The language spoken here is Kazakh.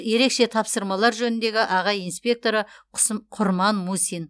ерекше тапсырмалар жөніндегі аға инспекторы құрман мусин